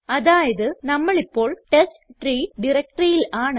അതായത് നമ്മൾ ഇപ്പോൾ ടെസ്റ്റ്രീ directoryയിൽ ആണ്